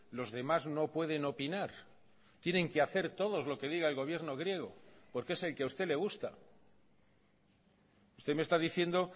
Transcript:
los demás no pueden opinar tienen que hacer todos lo que diga el gobierno griego porque es el que a usted le gusta usted me está diciendo